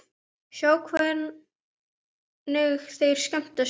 Sjá hvernig þeir skemmta sér.